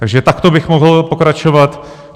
Takže takto bych mohl pokračovat.